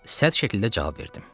Sərt şəkildə cavab verdim.